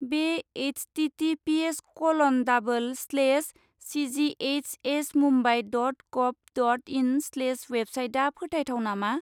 बे HTTPS kiln डाबोल slash सिजिएइसएसमुम्बाइ dot गभ dot इन slash वेबसाइटआ फोथायथाव नामा?